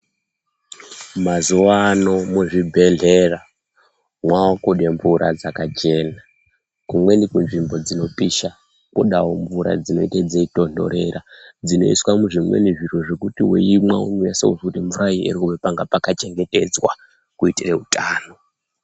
Mazuva ano mu zvibhedhlera mwakude mvura dzakachena kumweni ku nzvimbo dzinopisha kodawo mvura dzinenge dzeyi tonhorera dzinoiswa mu zvimweni zviro zvekuti weimwa unonasa kuzwa kuti mvura iyi irikubva panga paka chengetedzwa kuitira utano.